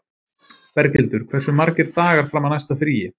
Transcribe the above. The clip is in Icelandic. Berghildur, hversu margir dagar fram að næsta fríi?